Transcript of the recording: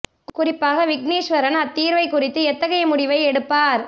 குறிப்பாக விக்னேஸ்வரன் அத் தீர்வைக் குறித்து எத்தகைய முடிவை எடுப்பார்